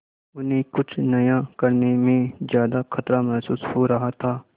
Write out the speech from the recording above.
उन्हें कुछ नया करने में ज्यादा खतरा महसूस हो रहा था